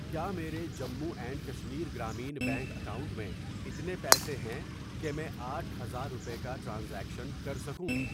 کیا میرے Jammu and Kashmir Grameen bank account میں اتنے پیسے ہیں کہ میں آٹھ ہزار روپے کا ٹرانزیکشن کر سکوں؟